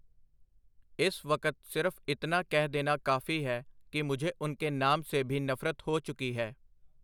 ਇਸ ਵਕਤ ਸਿਰਫ ਇਤਨਾ ਕਹਿ ਦੇਨਾ ਕਾਫੀ ਹੈ ਕਿ ਮੁਝੇ ਉਨਕੇ ਨਾਮ ਸੇ ਭੀ ਨਫਰਤ ਹੋ ਚੁਕੀ ਹੈ.